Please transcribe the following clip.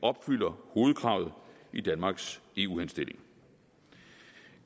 opfylder hovedkravet i danmarks eu henstilling